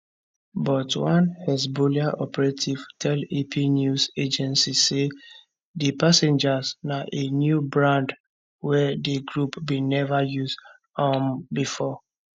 but one hezbollah operative tell ap news agency say di pagers na a new brand wey di group bin never use um before